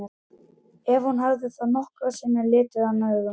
Ef hún hafði þá nokkru sinni litið hann augum.